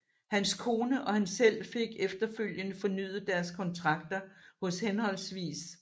Hans kone og han selv fik efterfølgende fornyet deres kontrakter hos hhv